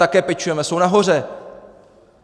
Také pečujeme - jsou nahoře.